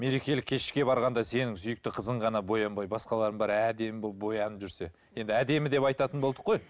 мерекелік кешке барғанда сенің сүйікті қызың ғана боянбай басқалардың бәрі әдемі болып боянып жүрсе енді әдемі деп айтатын болдық қой